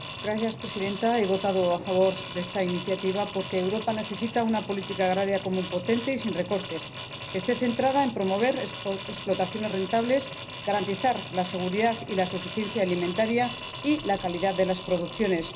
Señora Presidenta, he votado a favor de esta iniciativa porque Europa necesita una Política Agrícola Común potente y sin recortes, centrada en promover explotaciones rentables y en garantizar la seguridad y la suficiencia alimentarias y la calidad de las producciones.